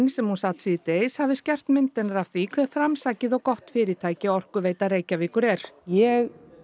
sem hún sat síðdegis hafi skerpst mynd hennar af því hve framsækið og gott fyrirtæki Orkuveita Reykjavíkur er ég